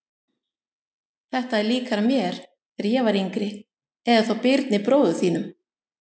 Þetta er líkara mér þegar ég var yngri eða þá Birni bróður þínum.